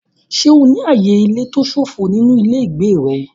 Ṣé o ní ààyè ilé tó ṣófo nínú ilé ìgbé rẹ?